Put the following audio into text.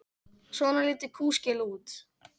Svona lítur kúskel út.